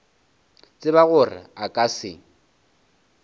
tseba gore a ka se